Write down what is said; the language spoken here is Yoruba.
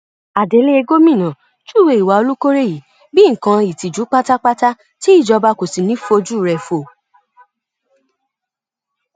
adelé gomina júwe ìwà olùkórè yìí bíi nǹkan ìtìjú pátápátá tí ìjọba kò sì ní í fojúure wò